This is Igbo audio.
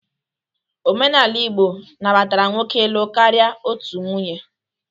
Omenala Igbo nabatara nwoke ịlụ karịa otu nwunye